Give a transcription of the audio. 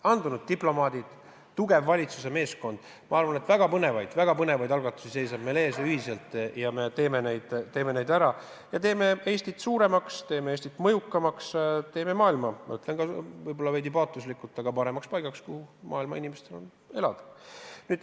Andunud diplomaadid, tugev valitsuse meeskond – ma arvan, et väga põnevaid, väga põnevaid algatusi seisab meil ühiselt ees ja me teeme need ära ja teeme Eestit suuremaks, teeme Eestit mõjukamaks, teeme maailma – ma ütlen võib-olla veidi liiga paatoslikult – paremaks paigaks, kus inimestel on parem elada.